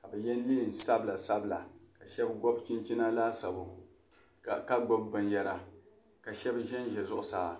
ka bi ye neen' sabila sabila kashab. gobi. chin chini laasabu. ka gbubi bin yara. kashab. zan za zuɣu saa